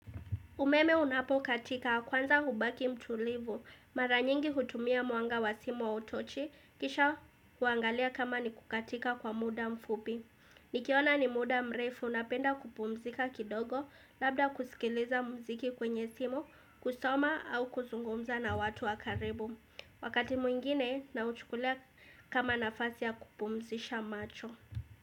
Umeme unapokatika kwanza hubaki mtulivu. Mara nyingi hutumia mwanga wa simu au utochi. Kisha huangalia kama ni kukatika kwa muda mfupi. Nikiona ni muda mrefu napenda kupumzika kidogo labda kusikiliza mziki kwenye simu kusoma au kuzungumza na watu wa karibu. Wakati mwingine na uchukulia kama nafasi ya kupumzisha macho.